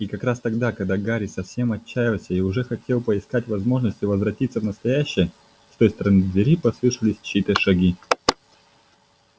и как раз тогда когда гарри совсем отчаялся и уже хотел поискать возможности возвратиться в настоящее с той стороны двери послышались чьи-то шаги